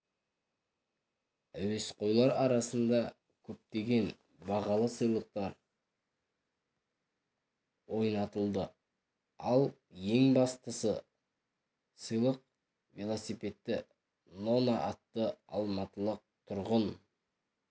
әуесқойлар арасында көптеген бағалы сыйлықтар ойнатылды ал ең басты сыйлық велосипедті нона атты алматылық тұрғын